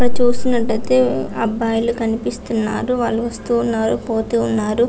ఇక్కడ చూస్తున్నట్లైతే అబ్బాయిలు కనిపిస్తున్నారు వాళ్ళు వాస్తు ఉన్నారు పోతు ఉన్నారు .